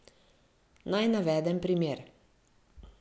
Naj navedem primer.